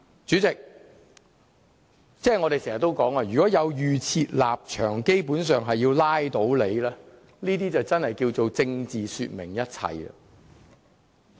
主席，我們經常說，如持有預設立場，基本上是要拉倒某個項目，這樣就真的叫作"政治說明一切"。